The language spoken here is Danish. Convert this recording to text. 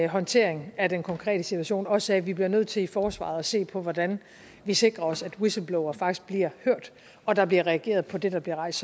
håndtering af den konkrete situation også sagde at vi bliver nødt til i forsvaret at se på hvordan vi sikrer os at whistleblowere faktisk bliver hørt og at der bliver reageret på det der bliver rejst